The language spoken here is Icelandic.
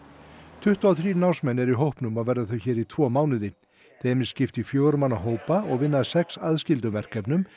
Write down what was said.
tuttugu og þrír námsmenn eru í hópnum og verða þau hér í tvo mánuði þeim er skipt í fjögurra manna hópa og vinna að sex aðskildum verkefnum